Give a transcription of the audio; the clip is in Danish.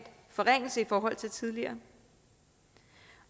forringelse i forhold til tidligere